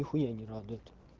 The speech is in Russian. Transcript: нихуя не радует